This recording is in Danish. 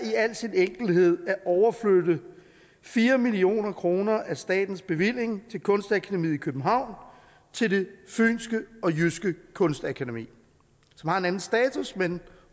i al sin enkelhed ud på at overflytte fire million kroner af statens bevilling til kunstakademiet i københavn til det fynske og jyske kunstakademi som har en anden status